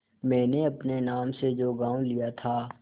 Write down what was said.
मैंने अपने नाम से जो गॉँव लिया था